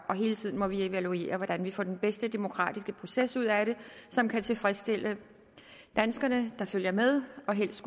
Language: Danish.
hele tiden må vi evaluere hvordan vi får den bedst mulige demokratiske proces ud af det som kan tilfredsstille de danskere der følger med og helst